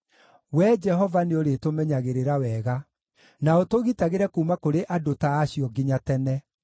Wee Jehova nĩũrĩtũmenyagĩrĩra wega, na ũtũgitagĩre kuuma kũrĩ andũ ta acio nginya tene.